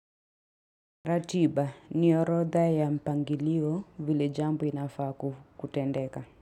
Ratiba ni orodha ya mpangilio vile jambo inafaa kutendeka.